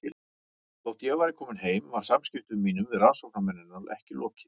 Þótt ég væri komin heim var samskiptum mínum við rannsóknarmennina ekki lokið.